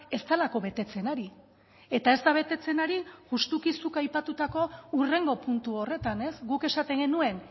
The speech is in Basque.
ez delako betetzen ari eta ez da betetzen ari justuki zuk aipatutako hurrengo puntu horretan ez guk esaten genuen